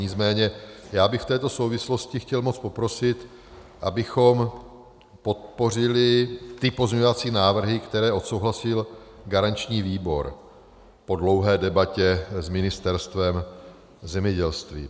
Nicméně já bych v této souvislosti chtěl moc poprosit, abychom podpořili ty pozměňovací návrhy, které odsouhlasil garanční výbor po dlouhé debatě s Ministerstvem zemědělství.